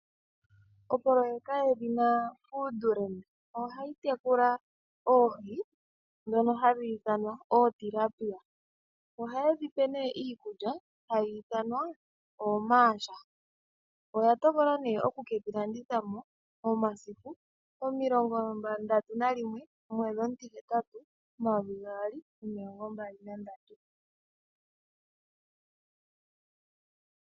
Oproyeka yedhina foodland ohayi tekula oohi ndhono hadhi ithanwa ootilapia, ohaye dhi pe nee iikulya mbyono hayi ithanwa oomarsh. Oya tokola nee oku ke dhi landitha po momasiku 31/08/2023.